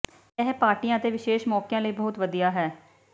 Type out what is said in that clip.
ਇਹ ਪਾਰਟੀਆਂ ਅਤੇ ਵਿਸ਼ੇਸ਼ ਮੌਕਿਆਂ ਲਈ ਬਹੁਤ ਵਧੀਆ ਹੈ